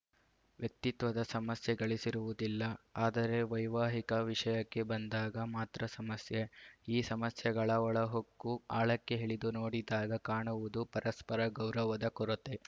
ವ್ಯಕ್ತಿತ್ವದ ಸಮಸ್ಯೆಗಳಿರುವುದಿಲ್ಲ ಆದರೆ ವೈವಾಹಿಕ ವಿಷಯಕ್ಕೆ ಬಂದಾಗ ಮಾತ್ರ ಸಮಸ್ಯೆ ಈ ಸಮಸ್ಯೆಗಳ ಒಳಹೊಕ್ಕು ಆಳಕ್ಕೆ ಇಳಿದು ನೋಡಿದಾಗ ಕಾಣುವುದು ಪರಸ್ಪರ ಗೌರವದ ಕೊರತೆ